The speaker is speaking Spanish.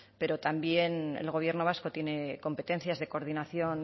pero también el gobierno vasco tiene competencias de coordinación